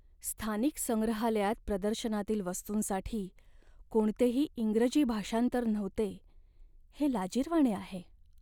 स्थानिक संग्रहालयात प्रदर्शनातील वस्तूंसाठी कोणतेही इंग्रजी भाषांतर नव्हते हे लाजिरवाणे आहे.